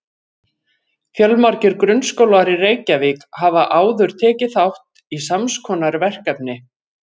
Fjölmargir grunnskólar í Reykjavík hafa áður tekið þátt í sams konar verkefni.